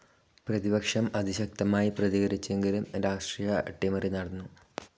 പ്രതിപക്ഷം അതിശക്തമായി പ്രതികരിച്ചെങ്കിലും രാഷ്ട്രീയ അട്ടിമറി നടന്നു.